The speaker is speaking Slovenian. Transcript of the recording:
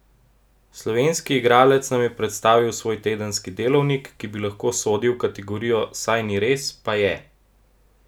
Slovenski igralec nam je predstavil svoj tedenski delovnik, ki bi lahko sodil v kategorijo saj ni res, pa je!